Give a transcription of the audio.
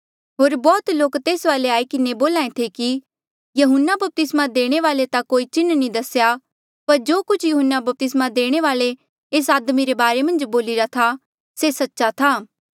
होर बौह्त लोक तेस वाले आई किन्हें बोल्हा ऐें थे कि यहून्ना बपतिस्मा देणे वाल्ऐ ता कोई चिन्ह नी दसेया पर जो कुछ यहून्ना बपतिस्मा देणे वाल्ऐ एस आदमी रे बारे मन्झ बोलिरा था से सच्च था